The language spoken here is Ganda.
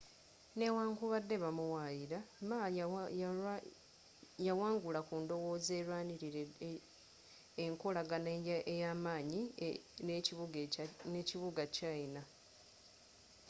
newankubadde ba muwaayira ma yawangula ku ndowooza erwanirira enkolagana ey'amaanyi n'ekibuga kya china